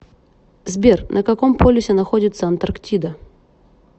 сбер на каком полюсе находится антарктида